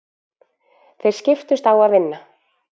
Þeir skiptust á að vinna.